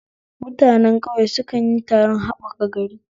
Mutane ƙauye su kanyi taron haɓaka gari